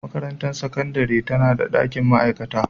Makarantar Sakandare tana da dakin ma'aikata